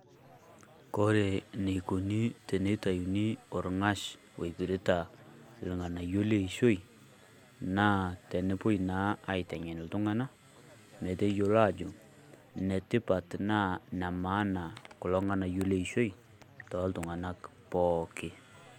Kore neikuni teneitayuni olng'ash oipirta ilng'anayio leishoi naa tenepuoi naa aiteng'en iltung'anak meteyiolo ajo netipat naa nemaana kulo ng'anayio leishoi tooltung'anak pooki.